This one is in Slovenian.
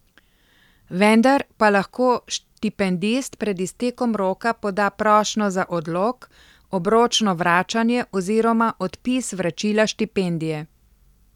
Vendar pa lahko štipendist pred iztekom roka poda prošnjo za odlog, obročno vračanje oziroma odpis vračila štipendije.